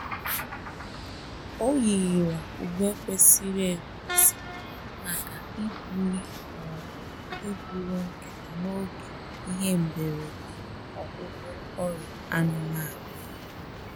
Ọ yiri Ọ yiri uwe kwesịrị ekwesị maka ibuli ma ọ bụ iburu nkịta n'oge ihe mberede ọgwụgwọ ọria anụmanụ